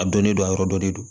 A dɔnnen don a yɔrɔ dɔ de don